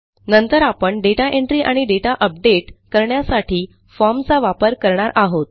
नंतर आपण data entry आणि दाता अपडेट करण्यासाठी formचा वापर करणार आहोत